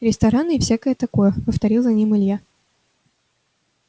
рестораны и всякое такое повторил за ним илья